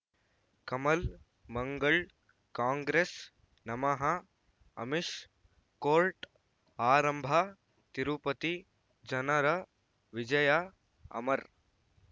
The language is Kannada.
ಕಮಲ್ ಮಂಗಳ್ ಕಾಂಗ್ರೆಸ್ ನಮಃ ಅಮಿಷ್ ಕೋರ್ಟ್ ಆರಂಭ ತಿರುಪತಿ ಜನರ ವಿಜಯ ಅಮರ್